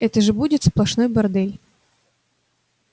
это же будет сплошной бордель